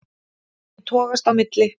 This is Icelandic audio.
Ég togast á milli.